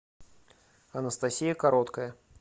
анастасия короткая